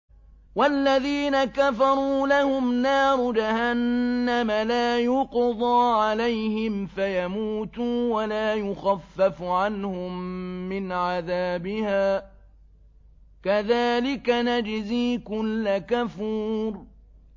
وَالَّذِينَ كَفَرُوا لَهُمْ نَارُ جَهَنَّمَ لَا يُقْضَىٰ عَلَيْهِمْ فَيَمُوتُوا وَلَا يُخَفَّفُ عَنْهُم مِّنْ عَذَابِهَا ۚ كَذَٰلِكَ نَجْزِي كُلَّ كَفُورٍ